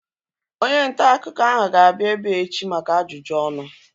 Onye ntaakụkọ ahu ga-abịa ebea echi maka ajụjụ ọnụ